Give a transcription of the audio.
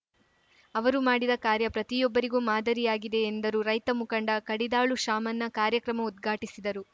ಅವರು ಮಾಡಿದ ಕಾರ್ಯ ಪ್ರತಿಯೊಬ್ಬರಿಗೂ ಮಾದರಿಯಾಗಿದೆ ಎಂದರು ರೈತ ಮುಖಂಡ ಕಡಿದಾಳು ಶಾಮಣ್ಣ ಕಾರ್ಯಕ್ರಮ ಉದ್ಘಾಟಿಸಿದರು